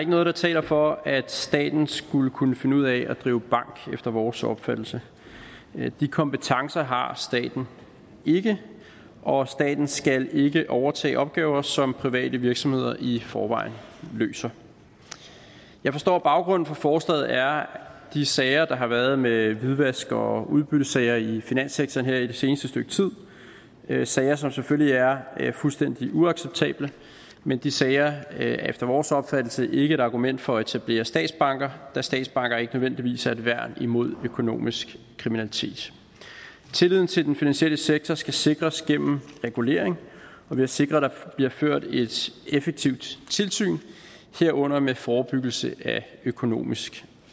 noget der taler for at staten skulle kunne finde ud af at drive bank efter vores opfattelse de kompetencer har staten ikke og staten skal ikke overtage opgaver som private virksomheder i forvejen løser jeg forstår at baggrunden for forslaget er de sager der har været med hvidvask og udbyttesager i finanssektoren her i det seneste stykke tid sager som selvfølgelig er fuldstændig uacceptable men de sager er efter vores opfattelse ikke et argument for at etablere statsbanker da statsbanker ikke nødvendigvis er et værn imod økonomisk kriminalitet tilliden til den finansielle sektor skal sikres gennem regulering og ved at sikre at der bliver ført et effektivt tilsyn herunder med forebyggelse af økonomisk